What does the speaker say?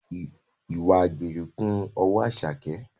Ìwà àgbèrè kún ọwọ́ Àṣàkẹ́